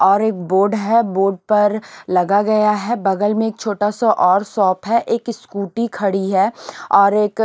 और एक बोर्ड है बोर्ड पर लगा गया है बगल में एक छोटा सा और शॉप है एक स्कूटी खड़ी है और एक--